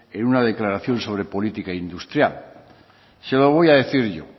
en una declaración sobre política industrial se lo voy a decir yo